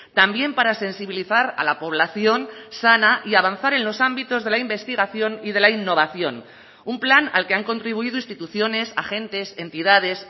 también para sensibilizar a la población sana y avanzar en los ámbitos de la investigación y de la innovación un plan al que han contribuido instituciones agentes entidades